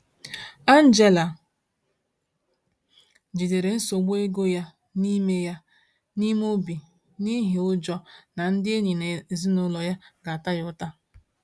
Angela jidere nsogbu ego ya n’ime ya n’ime obi n’ihi ụjọ na ndị enyi na ezinụlọ ya ga-ata ya ụta.